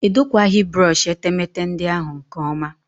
Edokwaghị brọshị etemeete ndị ahụ nke ọma